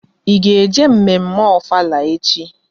Ị ga-eje mme mme Ofala echi?